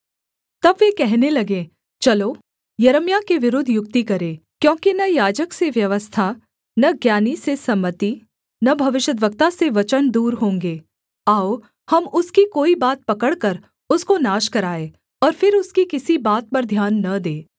तब वे कहने लगे चलो यिर्मयाह के विरुद्ध युक्ति करें क्योंकि न याजक से व्यवस्था न ज्ञानी से सम्मति न भविष्यद्वक्ता से वचन दूर होंगे आओ हम उसकी कोई बात पकड़कर उसको नाश कराएँ और फिर उसकी किसी बात पर ध्यान न दें